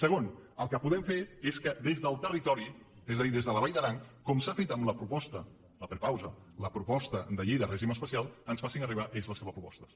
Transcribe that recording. segon el que podem fer és que des del territori és a dir des de la vall d’aran com s’ha fet amb la proposta la prepausa la proposta de llei de règim especial ens facin arribar ells les seves propostes